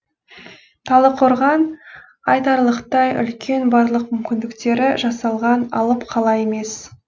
талдықорған айтарлықтай үлкен барлық мүмкіндіктері жасалған алып қала емес